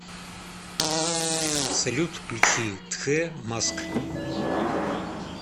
салют включи тхэ маск